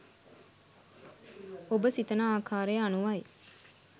ඔබ සිතන ආකාරය අනුවයි.